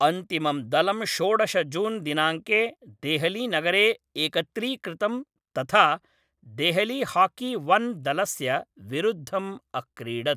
अन्तिमं दलं षोडश जून् दिनाङ्के देहलीनगरे एकत्रीकृतं तथा देहलीहाकी वन् दलस्य विरुद्धम् अक्रीडत्।